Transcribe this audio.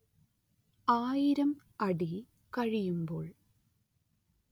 ആയിരം അടി കഴിയുമ്പോൾ